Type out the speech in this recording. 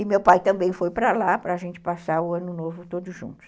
E meu pai também foi para lá para a gente passar o ano novo todos juntos.